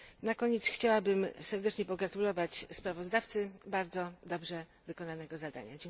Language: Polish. Na koniec chciałabym serdecznie pogratulować sprawozdawcy bardzo dobrze wykonanego zadania.